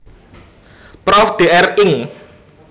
Prof Dr Ing